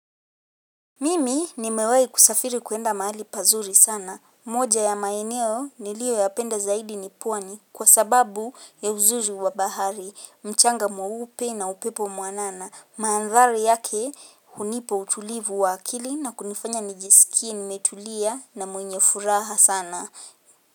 Mimi nimewahi kusafiri kuenda mahali pazuri sana. Moja ya maeneo niliyoyapenda zaidi nipwani kwa sababu ya uzuri wabahari, mchanga mweupe na upepo mwanana. Mahanthari yake hunipa utulivu waakili na kunifanya nijisikie nimetulia na mwenye furaha sana.